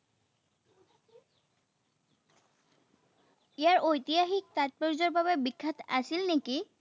ইয়াৰ ঐতিহাসিক তাতপৰ্য্যৰ বাবে বিখ্যাত আছিল নেকি?